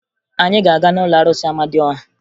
Anyị ga-aga n'ụlọ arụsị Amadịọha